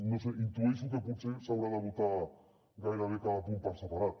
no ho sé intueixo que potser s’haurà de votar gairebé cada punt per separat